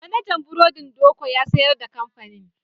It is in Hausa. Manajan burodin Doko ya sayar da kamfanin.